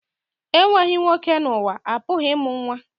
Enweghị nwoke n'ụwa, a pụghị ịmụ nwa